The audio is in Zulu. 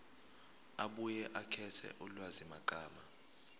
abuye akhethe ulwazimagama